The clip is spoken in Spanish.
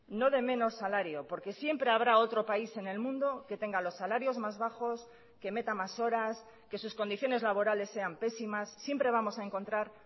no de menos salario porque siempre habrá otro país en el mundo que tenga los salarios más bajos que meta más horas que sus condiciones laborales sean pésimas siempre vamos a encontrar